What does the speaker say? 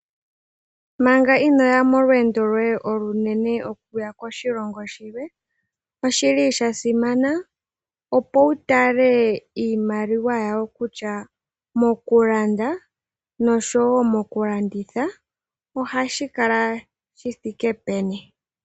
Mpanga inoya molweendo loye olunene okuya koshilongo shilwe, oshili sha simana opo wutale iimaliwa yawo kutya mokulanda oshowo mokulanditha nokutya ohashi kala shithiike peni.